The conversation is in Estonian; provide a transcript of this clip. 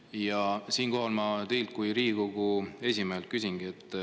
Ja siinkohal ma küsingi teilt kui Riigikogu esimehelt.